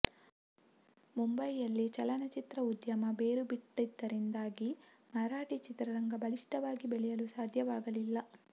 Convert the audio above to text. ಮುಂಬೈಯಲ್ಲಿ ಚಲನಚಿತ್ರ ಉದ್ಯಮ ಬೇರು ಬಿಟ್ಟಿದ್ದರಿಂದಾಗಿ ಮರಾಠಿ ಚಿತ್ರರಂಗ ಬಲಿಷ್ಠವಾಗಿ ಬೆಳೆಯಲು ಸಾಧ್ಯವಾಗಲಿಲ್ಲ